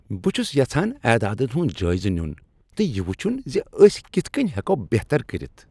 بہٕ چھس یژھان اعدادن ہنٛد جٲیزٕ نِیُن تہٕ یہ وٕچھن ز أسۍ کتھ کٔنۍ ہؠکو بہتر کٔرِتھ۔